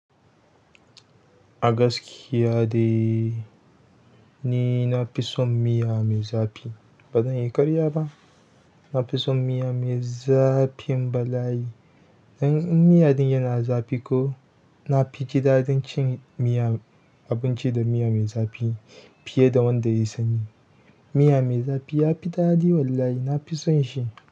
Agaskiya dai ni na fi son miya mai zafi. Ba zan yi karya ba. Na fi son miya mai zafin balai. In miya ɗin yana zafi ko, na fiji daɗin cin miya, abinci da miya mai zafi fiye da wanda ya yi sanyi. Miya mai zafi ya fi daɗi wallahi, na fi son shi.